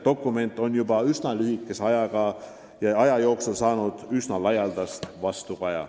Dokument on juba üsna lühikese aja jooksul saanud päris laialdast vastukaja.